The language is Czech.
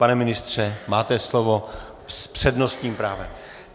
Pane ministře, máte slovo s přednostním právem.